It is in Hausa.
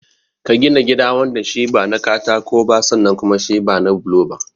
Ka gina gida wanda shi ba na katako ba sannan kuma shi ba na bulo ba.